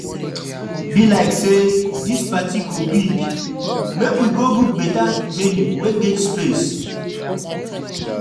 Be like say this party go big, make we go book beta venue wey get space.